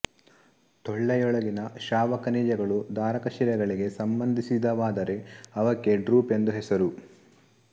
ಟೊಳ್ಳೆಯೊಳಗಿನ ಸ್ರಾವಖನಿಜಗಳು ಧಾರಕಶಿಲೆಗಳಿಗೆ ಸಂಬಂಧಿಸಿದವಾದರೆ ಅವಕ್ಕೆ ಡ್ರೂಪ್ ಎಂದು ಹೆಸರು